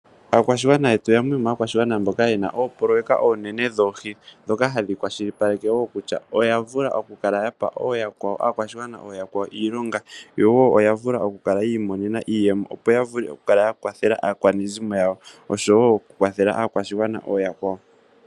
Aakwashigwana yetu yamwe yomaakwashigwana mboka yena oopoloyeka oonene dhoohi ndhoka hadhi kwashilipaleke wo kutya oya vula oku pa ooyakwawo, aakwashigwana oyaakwawo iilonga, yo wo oya vula oku kala yi imonena iiyemo, opo ya vule oku kala ya kwathela aakwanezimo yawo oshowo oku kwathela aakwashigwana ooyakwawo.